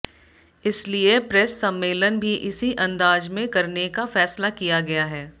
इसलिए प्रेस सम्मेलन भी इसी अंदाज में करने का फैसला किया गया है